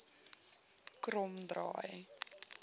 kromdraai